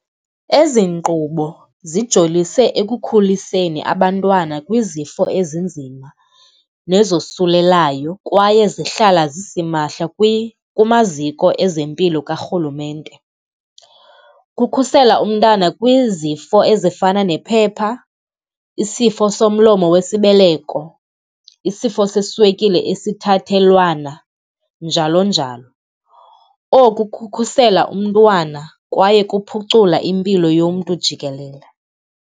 Ezi nkqubo zijolise ekukhuliseni abantwana kwizifo ezinzima nezosulelayo kwaye zihlala zisimahla kumaziko ezempilo karhulumente. Kukhusela umntana kwizifo ezifana nephepha, isifo somlomo wesibeleko, isifo seswekile esithathelwana, njalo njalo. Oku kukhusela umntwana kwaye kuphucula impilo yomntu jikelele.